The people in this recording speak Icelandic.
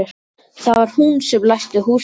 Það var hún sem læsti húsinu.